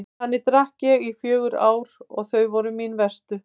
Þannig drakk ég í fjögur ár og þau voru mín verstu.